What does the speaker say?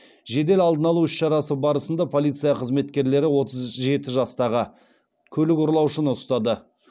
жедел алдын алу іс шарасы барысында полиция қызметкерлері отыз жеті жастағы көлік ұрлаушыны ұстады